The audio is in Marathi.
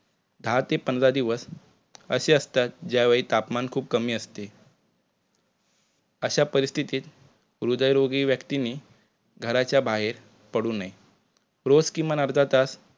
दहा ते पंधरा दिवस असे असतात ज्यावेळी तापमान खुप कमी असते अशा परिस्थितीत हृदयरोगी व्यक्तींनी घराच्या बाहेर पडू नये. रोज किमान अर्धातास